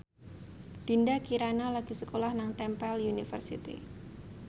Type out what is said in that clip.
Dinda Kirana lagi sekolah nang Temple University